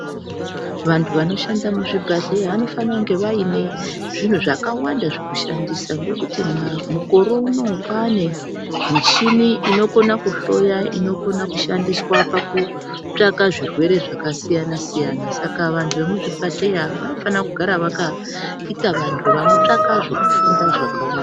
Vantu vanoshanda muzvibhedhlera vanofana kunge vaine zvinhu zvakawanda zvekushandisa ngokuti mukore unowu kwaane muchini inokona kuhloya inokona ikushandiswa pakutsvaka zvirwere zvakasiyana-siyana, saka vantu vemuzvibhedhlera vanofanira kugara vakaita vantu vanotsvaka zvokufunda zvakawanda.